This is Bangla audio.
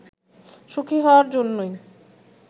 সুখি হওয়ার জন্যই